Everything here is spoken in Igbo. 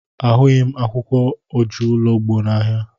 Ahụghị m akwụkwọ ojuologbo n'ahịa.